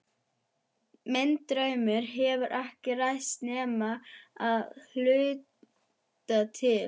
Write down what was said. Minn draumur hefur ekki ræst nema að hluta til.